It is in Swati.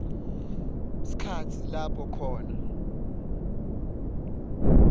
sikhatsi lapho khona